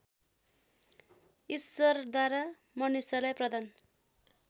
ईश्वरद्वारा मनुष्यलाई प्रदान